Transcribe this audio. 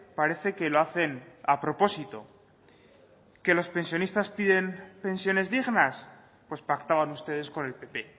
parece que lo hacen a propósito que los pensionistas piden pensiones dignas pues pactaban ustedes con el pp